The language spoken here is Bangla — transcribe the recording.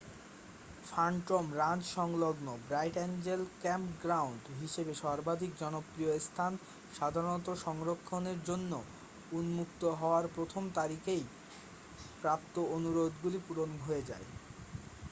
ফ্যান্টম রাঞ্চ সংলগ্ন ব্রাইট অ্যাঞ্জেল ক্যাম্পগ্রাউন্ড হিসাবে সর্বাধিক জনপ্রিয় স্থান সাধারণত সংরক্ষণের জন্য উন্মুক্ত হওয়ার প্রথম তারিখেই প্রাপ্ত অনুরোধগুলি পূরণ হয়ে যায়